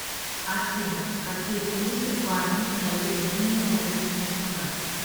афина какие плюсы парню дает умение садиться на шпагат